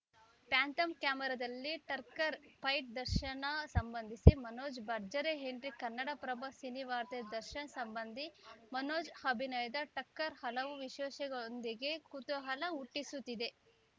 phantom ಕ್ಯಾಮೆರಾದಲ್ಲಿ ಟರ್ಕರ್ fight Darshan ಸಂಬಂಧಿ ಮನೋಜ್‌ ಭರ್ಜರಿ ಎಂಟ್ರಿ ಕನ್ನಡಪ್ರಭ ಸಿನಿವಾರ್ತೆ ದರ್ಶನ್‌ ಸಂಬಂಧಿ ಮನೋಜ್‌ ಅಭಿನಯದ ಟಕ್ಕರ್‌ ಹಲವು ವಿಶೇಷತೆಗಳೊಂದಿಗೆ ಕುತೂಹಲ ಹುಟ್ಟಿಸುತ್ತಿದೆ